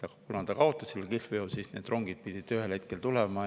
Kuna ta kihlveo kaotas, siis need rongid pidid ühel hetkel tulema.